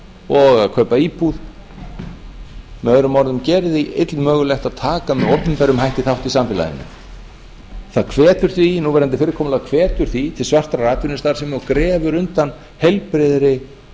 og að kaupa íbúð möo gerir því illmögulegt að taka með opinberum hætti þátt í samfélaginu núverandi fyrirkomulag hvetur því til svartrar atvinnustarfsemi og grefur undan heilbrigðri